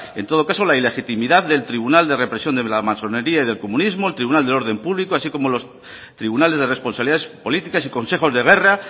en todo caso la ilegitimidad del tribunal de represión de la masonería y del comunismo el tribunal del orden público así como los tribunales de responsabilidades políticas y consejos de guerra